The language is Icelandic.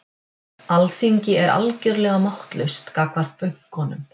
Alþingi er algjörlega máttlaust gagnvart bönkunum